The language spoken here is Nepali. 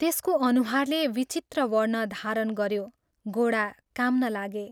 त्यसको अनुहारले विचित्र वर्ण धारण गयो, गोडा काम्न लागे।